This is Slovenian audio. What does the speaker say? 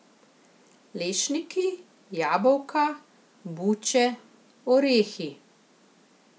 Lešniki, jabolka, buče, orehi ...